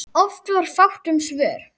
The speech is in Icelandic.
Oft var fátt um svör.